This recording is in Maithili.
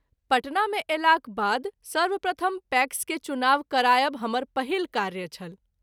पटना मे अयलाक बाद सर्वप्रथम पैक्स के चुनाव करायब हमर पहिल कार्य छल।